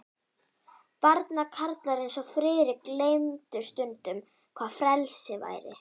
Barnakarlar eins og Friðrik gleymdu stundum, hvað frelsi væri.